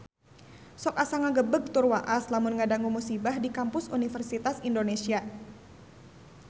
Sok asa ngagebeg tur waas lamun ngadangu musibah di Kampus Universitas Indonesia